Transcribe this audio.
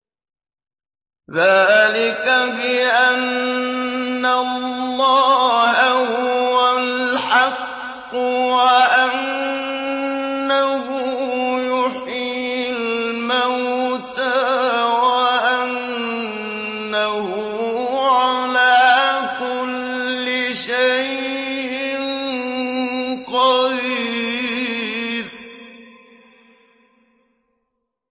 ذَٰلِكَ بِأَنَّ اللَّهَ هُوَ الْحَقُّ وَأَنَّهُ يُحْيِي الْمَوْتَىٰ وَأَنَّهُ عَلَىٰ كُلِّ شَيْءٍ قَدِيرٌ